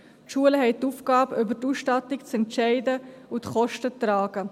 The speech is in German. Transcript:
Die Schulen haben die Aufgabe, über die Ausstattung zu entscheiden und die Kosten zu tragen.